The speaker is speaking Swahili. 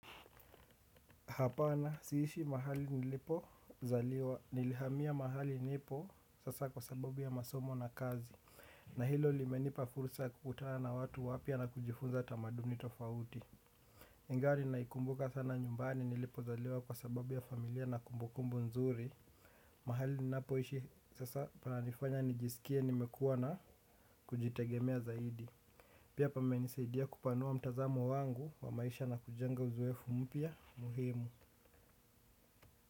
Hapana, siishi mahali nilipo zaliwa. Nilihamia mahali nipo sasa kwa sababu ya masomo na kazi. Na hilo limenipa fursa kukutana na watu wapia na kujifunza tamadumni tofauti. Ningari naikumbuka sana nyumbani nilipo zaliwa kwa sababu ya familia na kumbukumbu nzuri. Mahali ninapo ishi sasa pananifanya nijisikie nimekuwa na kujitegemea zaidi. Pia pamenisaidia kupanua mtazamo wangu wa maisha na kujenga uzoefu mpia muhimu.